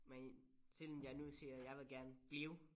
Men siden jeg nu siger jeg vil gerne blive